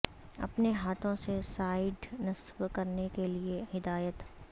اپنے ہاتھوں سے سائیڈ نصب کرنے کے لئے ہدایات